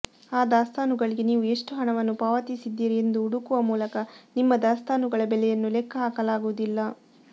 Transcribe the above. ಆ ದಾಸ್ತಾನುಗಳಿಗೆ ನೀವು ಎಷ್ಟು ಹಣವನ್ನು ಪಾವತಿಸಿದ್ದೀರಿ ಎಂದು ಹುಡುಕುವ ಮೂಲಕ ನಿಮ್ಮ ದಾಸ್ತಾನುಗಳ ಬೆಲೆಯನ್ನು ಲೆಕ್ಕಹಾಕಲಾಗುವುದಿಲ್ಲ